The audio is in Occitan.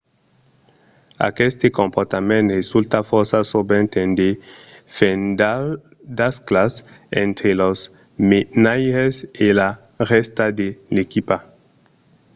aqueste comportament resulta fòrça sovent en de fendasclas entre los menaires e la rèsta de l’equipa